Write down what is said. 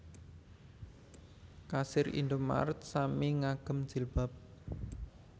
Kasir Indomart sami ngagem jilbab